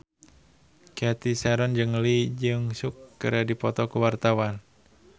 Cathy Sharon jeung Lee Jeong Suk keur dipoto ku wartawan